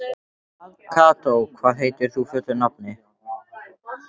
Kató, hvað heitir þú fullu nafni?